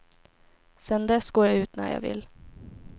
Sedan dess går jag ut när jag vill.